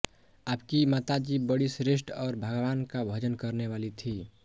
आपकी माताजी बङी श्रेष्ठ और भगवान् का भजन करने वाली थी